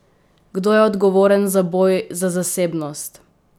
Kdo je odgovoren za boj za zasebnost?